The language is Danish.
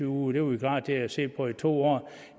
uger det var vi klar til at se på i to år